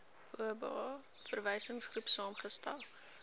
oba verwysingsgroep saamgestel